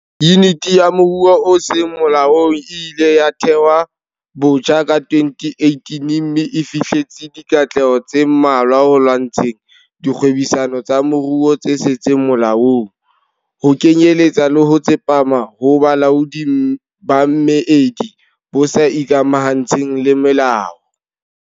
Yuniti ya Moruo o Seng Molaong e ileng ya thehwa botjha ka 2018 mme e fihleletse dikatleho tse mmalwa ho lwantsheng dikgwebisano tsa moruo tse seng molaong, ho kenyeletsa le ho tsepama ho bolaodi ba meedi bo sa ikamahantsheng le molao.